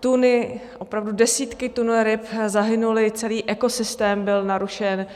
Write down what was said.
tuny, opravdu desítky tun ryb zahynulo, celý ekosystém byl narušen.